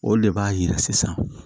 O de b'a yira sisan